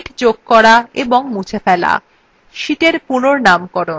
sheets যোগ করা এবং মুছে ফেলা